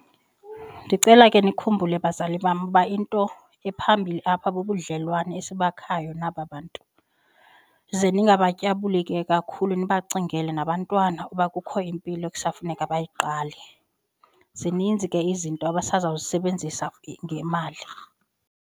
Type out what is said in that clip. Ndicela ke nikhumbule bazali bam uba into ephambilli apha bubudlelwane esibakhayo naba bantu. Ze ningabatyabuli ke kakhulu nibacingele nabantwana uba kukho impilo ekusafuneka bayiqale, zininzi ke izinto abasazawuzisebenzisa ngemali.